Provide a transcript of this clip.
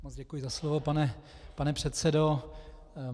Moc děkuji za slovo, pane předsedo.